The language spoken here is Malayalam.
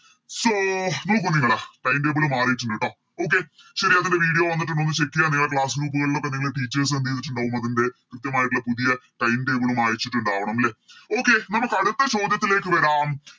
So നോക്കു നിങ്ങള് Time table മാറീട്ടിണ്ട് ട്ടോ Okay ശരി അതിൻറെ Video വന്നിട്ടുണ്ട് ഒന്ന് Check യ്യ നിങ്ങളെ Class group കളിലൊക്കെ നിങ്ങളെ Teachers എന്തേയ്‌തിട്ടുണ്ടാവും അതിൻറെ കൃത്യമായിട്ടുള്ള പുതിയ Time table ഉം അയച്ചിട്ടുണ്ടാവണം ലെ Okay നമുക്ക് അടുത്ത ചോദ്യത്തിലേക്ക് വരാം